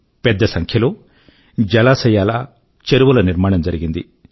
పెద్ద సంఖ్య లో జలాశయాల చెరువుల నిర్మాణం జరిగింది